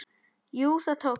Jú, það tókst!